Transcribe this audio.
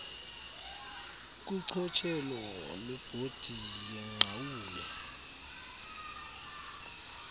kuchotshelo lwebhodi yenqawule